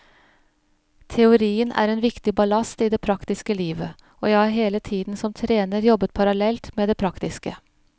Teorien er en viktig ballast i det praktiske livet, og jeg har hele tiden som trener jobbet parallelt med det praktiske.